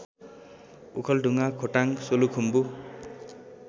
Okhaldhunga Khotang Solukhumbu